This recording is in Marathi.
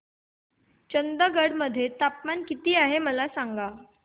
चंदगड मध्ये तापमान किती आहे मला सांगा